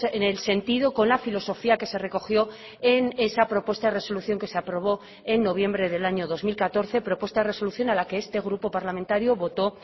en el sentido con la filosofía que se recogió en esa propuesta de resolución que se aprobó en noviembre del año dos mil catorce propuesta de resolución a la que este grupo parlamentario votó